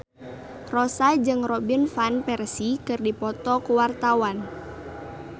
Rossa jeung Robin Van Persie keur dipoto ku wartawan